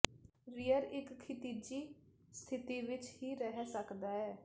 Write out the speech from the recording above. rear ਇੱਕ ਖਿਤਿਜੀ ਸਥਿਤੀ ਵਿਚ ਹੀ ਰਹਿ ਸਕਦਾ ਹੈ